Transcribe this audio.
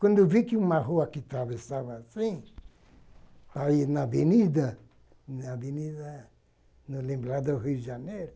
Quando eu vi que uma rua que atravessava assim, aí na avenida, na avenida, no lembrado do Rio de Janeiro,